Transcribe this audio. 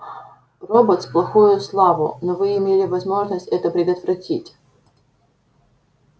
роботс плохую славу но вы имели возможность это предотвратить